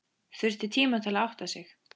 Þurfti tíma til að átta sig.